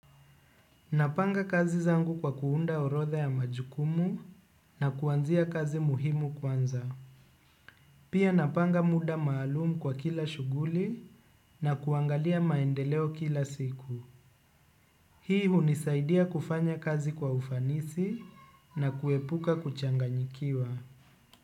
Napanga kazi zangu kwa kuunda orodha ya majukumu na kuanzia kazi muhimu kwanza. Pia napanga muda maalumu kwa kila shughuli na kuangalia maendeleo kila siku. Hii hunisaidia kufanya kazi kwa ufanisi na kuepuka kuchanganyikiwa.